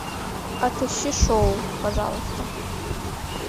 отыщи шоу пожалуйста